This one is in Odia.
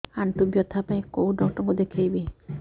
ଆଣ୍ଠୁ ବ୍ୟଥା ପାଇଁ କୋଉ ଡକ୍ଟର ଙ୍କୁ ଦେଖେଇବି